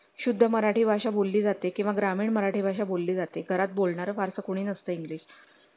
जे एक म्हणतात ना एक लर्निंग किंवा याचे जे तुम्ही हे स्कूलमध्ये काही गोष्टी केल्यात